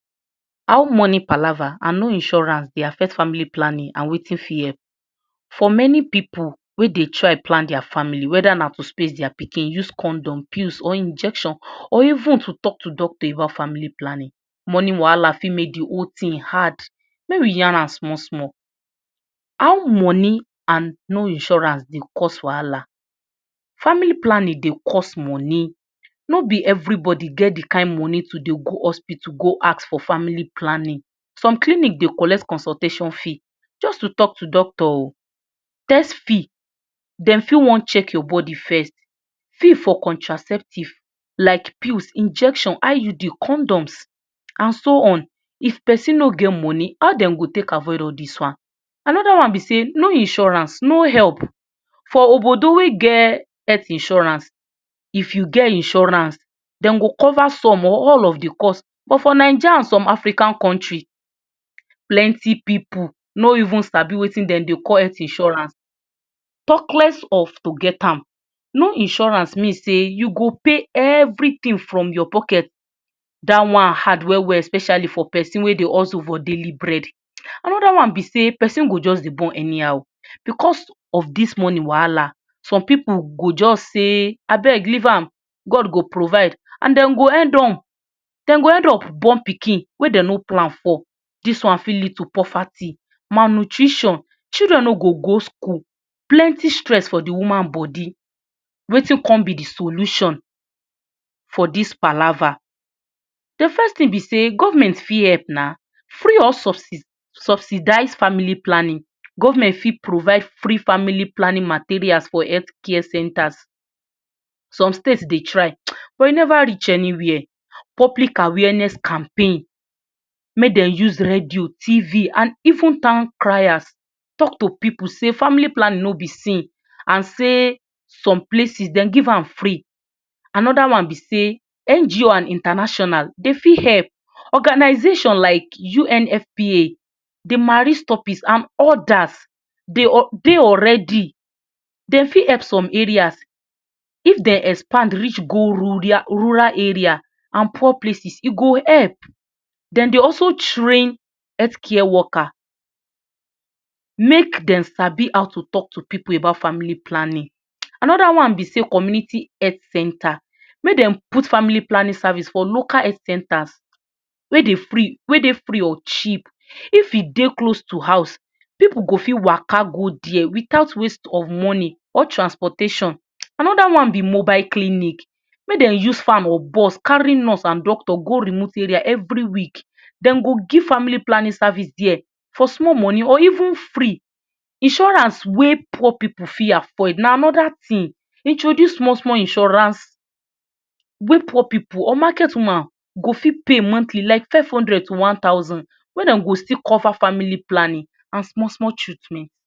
How money palava and no insurance Dey affect family planning and Wetin fit help, for many pipu wey Dey try plan dia family, weda na to space dia pikin, use condom, pills or injection or even to talk to doctor about family planning, money wahala fit make d whole thing hard, make we yarn an small small, how money and no insurance Dey cause wahala? Family planning Dey cost money, no b everybody get d kind money to Dey go hospital ask for family planning, some clinic Dey collect consultation fee jus to talk to doctor, test fee dem for wan check your body first, fee for contraceptives like pills, injection, IUD, condoms and so on, if persin no get money how dem go take avoid all dis one, another one b Dey, no insurance no help for wey get help insurance, if u fit get insurance dem go cover some or all of the cost, but for naija and some African countries, plenty pipu no even sabi Wetin dem Dey call health insurance, talk less of to get am, no insurance mean say u go pay everything from your pocket, dat one hard well well especially for persin wey Dey hustle for daily bread, anida one b sey persin go just dey born anyhow, because if dis money wahala some pipu go jus sey abeg leave am, god go provide and dem go end up, born pikin wey dem no plan for, dis one fit lead to poverty malnutrition, children no go go school, plenty stress for d woman body, Wetin con b d solution for dos palava, d first thing b sey government fit help na, free or subsidized family planning, government fit provide free family planning materials for health care centers, some states dey try, but e Neva reach anywhere, public awareness campaign, make dem use radio, tv and even town criers talk to pipu sey family planning no b sin and Dey some places dem give am free, anoda one b sey NGO and international dem fit help, organization like UNFBA, and odas dey already, dem fit help some areas of dem expand reach go rural area and poor places e go help dem dey also train health care worker make dem sabi how to talk to pipu about family planning, anid one b Dey community health center, make dem put family planning for local health centers, wey dey free or cheap, if e dey close to house pipu go fit Waka go there without waste of money, or transportation, anoda one b mobile clinic, make dem use farm or bus carry nurse and doctor go remote are every week, dem go give family planning service there for small money or even free, insurance wey pipu fit afford na anoda thing, introduce small small insurance wey poor pipu or market woman go fit pay monthly like five hundred to one thousand, wey dem go fit cover family planning and small small treatment.